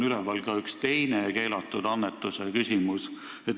Üleval on ka üks teine keelatud annetuse küsimus.